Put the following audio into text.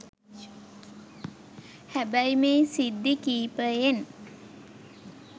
හැබැයි මේ සිද්ධි කිපයෙන්